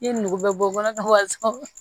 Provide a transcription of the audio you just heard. I ye nugu bɛ bɔ kɔnɔbara wa